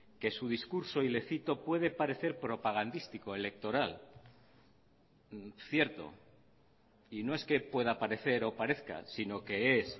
que su discurso y le cito puede parecer propagandístico electoral cierto y no es que pueda parecer o parezca sino que es